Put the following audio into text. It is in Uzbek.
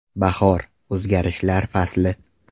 Bahor – o‘zgarishlar fasli!